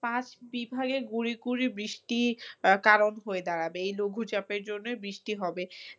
পাঁচ বিভাগে গুড়ি গুড়ি বৃষ্টি আহ কারণ হয়ে দাঁড়াবে এই লঘু চাপের জন্য বৃষ্টি হবে